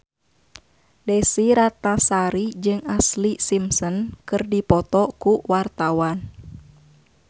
Desy Ratnasari jeung Ashlee Simpson keur dipoto ku wartawan